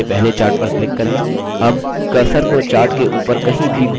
अब cursor को chart के ऊपर कहीं भी घुमाएँ